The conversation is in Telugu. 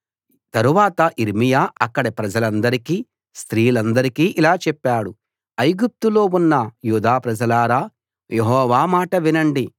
తర్వాత యిర్మీయా అక్కడి ప్రజలనందరికీ స్త్రీలందరికీ ఇలా చెప్పాడు ఐగుప్తులో ఉన్న యూదా ప్రజలారా యెహోవా మాట వినండి